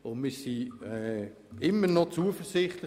Wir sind immer noch zuversichtlich.